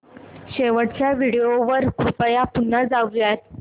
शेवटच्या व्हिडिओ वर कृपया पुन्हा जाऊयात